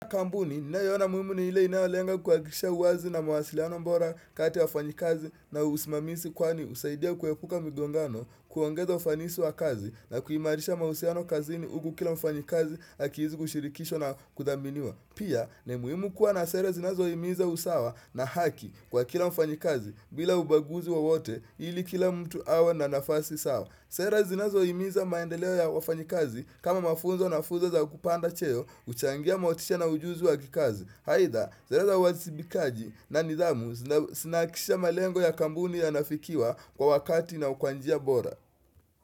Kampuni, ninayo ona muhimu ni ile inayolenga kuhakikisha uwazi na mawasiliano bora kati wafanyikazi na usimamisi kwani husaidia kuepuka migongano kuongeza ufanisi wa kazi na kuimarisha mahusiano kazini huku kila mfanyikazi akiishi kushirikishwa na kudhaminiwa. Pia, ni muhimu kuwa na sere zinazohimiza usawa na haki kwa kila mfanyikazi bila ubaguzi wowote ili kila mtu awe na nafasi sawa. Sera zinazohimiza maendeleo ya wafanyikazi kama mafunzo na fuzo za kupanda cheo huchangia motisha na ujuzi wa kikazi aidha, sere za uwazibikaji na nidhamu zinahakikisha malengo ya kampuni yanafikiwa kwa wakati na kwa njia bora.